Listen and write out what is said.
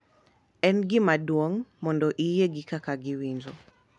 En gima duong’ mondo iyie gi kaka giwinjo